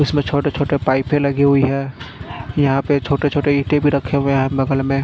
इसमे छोटे छोटे पाइपे लगी हुई है यहाँ पे छोटे छोटे इटे भी रखे हुए है बगल मे।